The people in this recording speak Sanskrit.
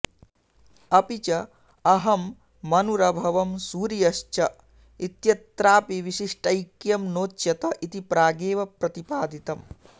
अपि च अहं मनुरभवं सूर्यश्च इत्यत्रापि विशिष्टैक्यं नोच्यत इति प्रागेव प्रतिपादितम्